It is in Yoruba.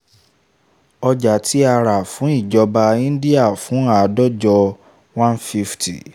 ọjà tí a rà fún ìjọba indian fún àádọ́jọ one fifty